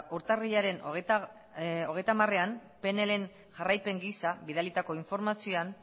urtarrilaren hogeita hamarean pnlren jarraipen gisa bidalitako informazioan